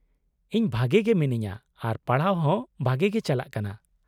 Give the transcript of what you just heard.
-ᱤᱧ ᱵᱷᱟᱜᱮ ᱜᱮ ᱢᱤᱱᱟᱹᱧᱟ ᱟᱨ ᱯᱟᱲᱦᱟᱣ ᱦᱚᱸ ᱵᱷᱟᱜᱮ ᱜᱮ ᱪᱟᱞᱟᱜ ᱠᱟᱱᱟ ᱾